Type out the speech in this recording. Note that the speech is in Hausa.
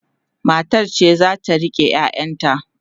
matar ce zata rike ƴaƴan ta